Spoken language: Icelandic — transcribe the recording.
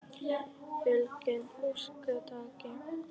Fjölgun ökutækja?